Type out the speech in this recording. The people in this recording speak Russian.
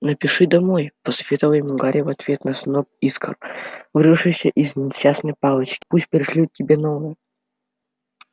напиши домой посоветовал ему гарри в ответ на сноп искр вырвавшийся из несчастной палочки пусть пришлют тебе новую